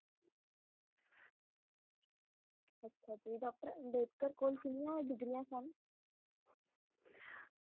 doctor Ambedkar ਕੋਲ ਕਿੰਨੀਆਂ ਡਿਗਰੀਆਂ ਸਨ